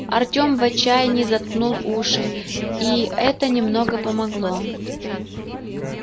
артём в отчаянии заткнул уши и это немного помогло